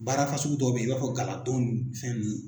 Baara fasugu dɔw bɛ ye i b'a fɔ gala don fɛn nunnu.